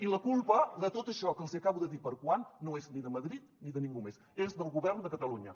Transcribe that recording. i la culpa de tot això que els hi acabo de dir per a quan no és ni de madrid ni de ningú més és del govern de catalunya